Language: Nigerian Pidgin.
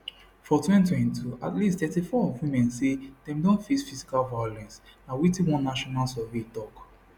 for 2022 at least 34 of women say dem don face physical violence na wetin one national survey tok